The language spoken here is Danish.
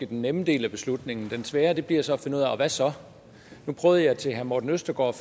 den nemme del af beslutningen det svære bliver så at finde ud af hvad så nu prøvede jeg til herre morten østergaard